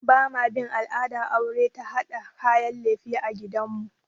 Ba ma bin al'adar aure ta haɗa kayan lefe a gidan mu